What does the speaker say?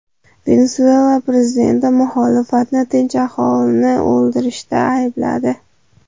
Venesuela prezidenti muxolifatni tinch aholini o‘ldirishda aybladi.